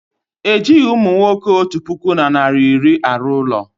Ejighị umunwoke otu puku na narị iri arụ ụlọ